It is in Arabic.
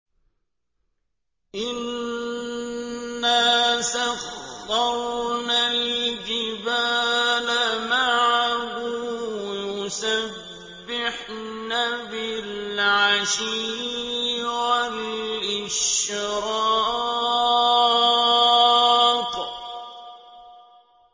إِنَّا سَخَّرْنَا الْجِبَالَ مَعَهُ يُسَبِّحْنَ بِالْعَشِيِّ وَالْإِشْرَاقِ